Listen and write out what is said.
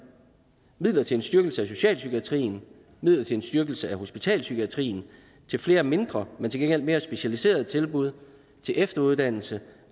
midler til en styrkelse af socialpsykiatrien midler til en styrkelse af hospitalspsykiatrien til flere mindre men til gengæld mere specialiserede tilbud til efteruddannelse